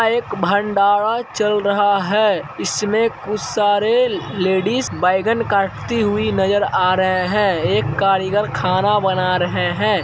एक भंडारा चल रहा है इसमे कुछ सारे ले-लेडिज बेंगन काटती हुई नजर आ रहे हैं एक कारीगर खाना बना रहें हैं।